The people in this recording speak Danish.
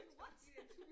What